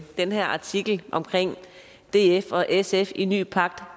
den her artikel om at df og sf i ny pagt